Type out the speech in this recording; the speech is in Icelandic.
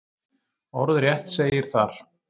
Orðrétt segir þar: